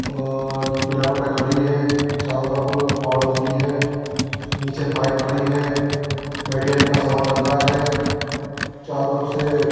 और पिलरों पे खड़ी है। चारों तरफ पाड़ बल्ली हैं। नीचे बाइक खड़ी है। मेडिकल का सामान रखा है। चारों तरफ से --